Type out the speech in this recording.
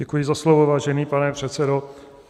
Děkuji za slovo, vážený pane předsedo.